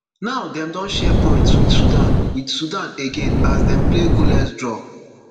now dem don share points with sudan with sudan again as dem play goalless draw